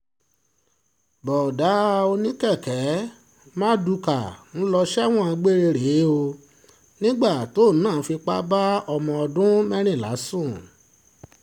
bóódá oníkèké marduká ń lọ sẹ́wọ̀n gbére rèé o nígbà tóun náà fipá bá ọmọ ọdún mẹ́rìnlá sùn